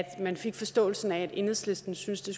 man fik forståelsen af at enhedslisten synes det